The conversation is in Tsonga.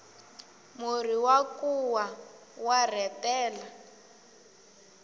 murhi wa nkuwa wa rhetela